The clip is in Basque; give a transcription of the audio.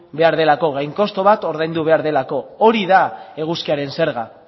behar delako gain kostu bat ordaindu behar delako hori da eguzkiaren zerga